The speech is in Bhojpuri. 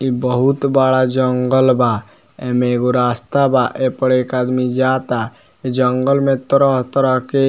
इ बहुत बड़ा जंगल बा ए में एगो रास्ता बा ए पड़ एक आदमी जाता जंगल में तरह-तरह के --